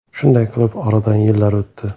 Shunday qilib oradan yillar o‘tdi.